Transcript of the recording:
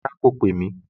Rárá, kò pè mí